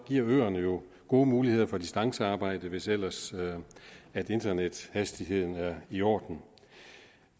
giver jo gode muligheder for distancearbejde hvis ellers internethastigheden er i orden